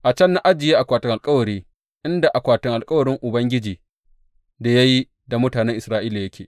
A can na ajiye akwatin alkawari, inda alkawarin Ubangiji da ya yi da mutanen Isra’ila yake.